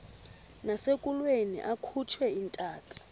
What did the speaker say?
nasekulweni akhutshwe intaka